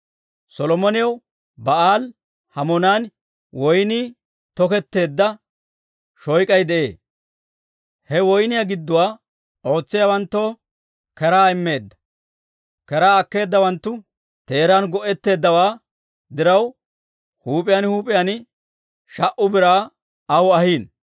Solomonew Ba'aali-Hamoonan woynnii toketteedda shoyk'ay de'ee; he woyniyaa gidduwaa ootsiyaawanttoo keraa immeedda. Keraa akkeedawanttu teeran go'etteeddawaa diraw, huup'iyaan huup'iyaan sha"u biraa aw ahiino.